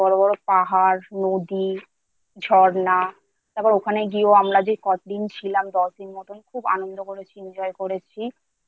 বড় পাহাড় নদী ঝরনা তারপর ওখানে গিয়েও আমরা যে কদিন ছিলাম দশ দিন মতো খুব আনন্দ করেছি